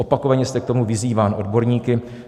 Opakovaně jste k tomu vyzýván odborníky.